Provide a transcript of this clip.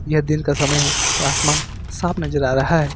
यह दिन का समय है और आसमान साफ नजर आ रहा है।